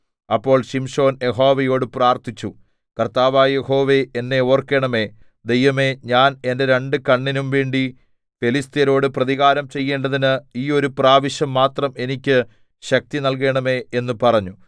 അപ്പോൾ ശിംശോൻ യഹോവയോട് പ്രാർത്ഥിച്ചു കർത്താവായ യഹോവേ എന്നെ ഓർക്കേണമേ ദൈവമേ ഞാൻ എന്റെ രണ്ട് കണ്ണിനും വേണ്ടി ഫെലിസ്ത്യരോട് പ്രതികാരം ചെയ്യേണ്ടതിന് ഈ ഒരു പ്രാവശ്യം മാത്രം എനിക്ക് ശക്തി നല്കേണമേ എന്ന് പറഞ്ഞു